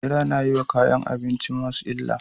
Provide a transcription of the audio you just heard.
Bera na yi wa kayan abincinsu musa barna